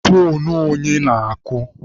Foonu onye na-akụ?